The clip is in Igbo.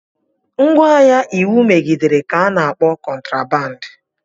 Ngwaahịa iwu megidere ka ana akpọ kotraband.